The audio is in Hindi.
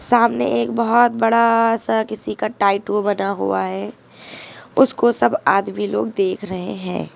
सामने एक बहोत बड़ा सा किसी का टाइटू बना हुआ है उसको सब आदमी लोग देख रहे है।